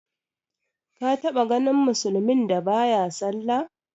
Ka taɓa ganin musulmin da ba ya sallah?